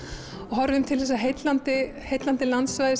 horfum til þessa heillandi heillandi landsvæðis